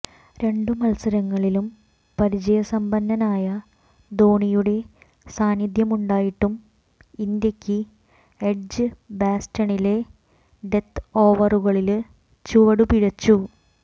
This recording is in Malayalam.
രണ്ടു മത്സരങ്ങളിലും പരിചയസമ്പന്നനായ ധോനിയുടെ സാന്നിധ്യമുണ്ടായിട്ടും ഇന്ത്യക്ക് എഡ്ജ്ബാസ്റ്റണിലെ ഡെത്ത് ഓവറുകളില് ചുവടുപിഴച്ചു